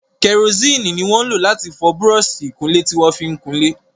Karosíìnì ni wọn ń lò láti fọ búrọ́ọ̀sì ìkunlé tí wọ́n fi kunlé.